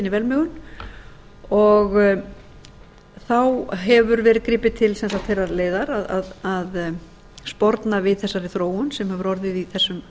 velmegun þá hefur verið gripið til þeirrar leiðar að sporna við þessari þróun sem hefur orðið í þessum